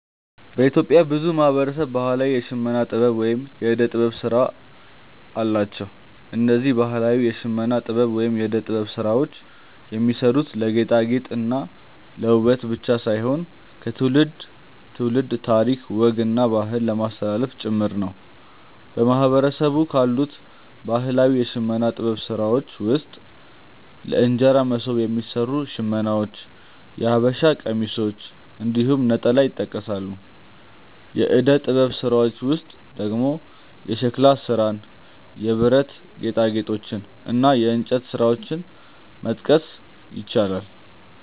በኢትዮጵያ ብዙ ማህበረሰብ ባህላዊ የሽመና ጥበብ ወይም የእደ ጥበብ ስራ አላቸው። እነዚህ ባህላዊ የሽመና ጥበብ ወይም የእደ ጥበብ ስራዎች የሚሰሩት ለማጌጥ እና ውበት ብቻ ሳይሆን ከትውልድ ትውልድ ታሪክ፣ ወግ እና ባህልን ለማስተላለፍ ጭምር ነው። በማህበረሰቡ ካሉት ባህላዊ የሽመና ጥበብ ስራዎች ውስጥ ለእንጀራ መሶብ የሚሰሩ ሽመናዎች፣ የሐበሻ ቀሚሶች እንዲሁም ነጠላ ይጠቀሳሉ። የእደ ጥበብ ስራዎች ውስጥ ደግሞ የሸክላ ስራን፣ የብረት ጌጣጌጦችን እና የእንጨት ስራዎችን መጥቀስ ይቻላል።